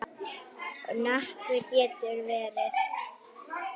Nökkvi getur verið